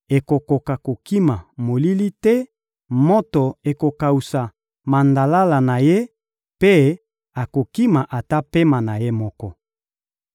akokoka kokima molili te, moto ekokawusa mandalala na ye mpe akokima ata pema na ye moko.